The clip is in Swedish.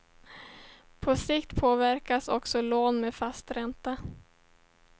På sikt påverkas också lån med fast ränta.